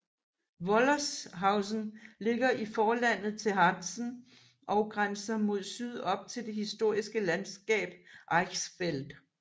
Wollershausen ligger i forlandet til Harzen og grænser mod syd op til det historiske landskab Eichsfeld